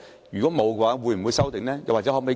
如果沒有，會否修訂？